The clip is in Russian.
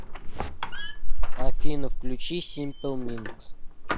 афина включи симпл миндс